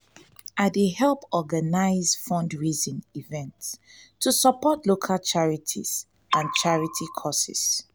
i dey help organize fundraising events to support local charities charities and causes.